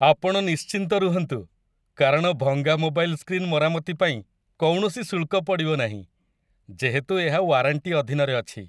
ଆପଣ ନିଶ୍ଚିନ୍ତ ରୁହନ୍ତୁ, କାରଣ ଭଙ୍ଗା ମୋବାଇଲ୍ ସ୍କ୍ରିନ୍ ମରାମତି ପାଇଁ କୌଣସି ଶୁଳ୍କ ପଡ଼ିବନାହିଁ, ଯେହେତୁ ଏହା ୱାରାଣ୍ଟି ଅଧୀନରେ ଅଛି।